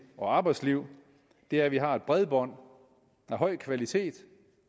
og arbejdsliv er at vi har bredbånd af høj kvalitet